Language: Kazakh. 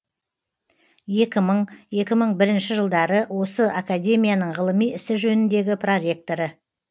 екі мың екі мың бірінші жылдары осы академияның ғылыми ісі жөніндегі проректоры